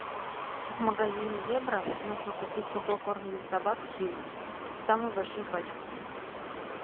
в магазине зебра нужно купить сухой корм для собак хиллс самую большую пачку